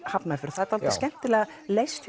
Hafnarfjörð það er dálítið skemmtilega leyst